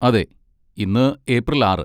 അതെ, ഇന്ന് ഏപ്രിൽ ആറ് .